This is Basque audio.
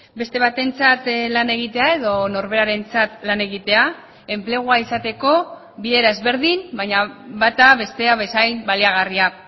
beste batentzat lan egitea edo norberarentzat lan egitea enplegua izateko bi era ezberdin baina bata bestea bezain baliagarria